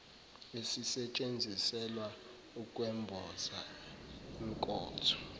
esisetshenziselwa ukwemboza inkotho